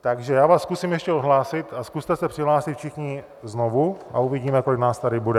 Takže já vás zkusím ještě odhlásit a zkuste se přihlásit všichni znovu a uvidíme, kolik nás tady bude.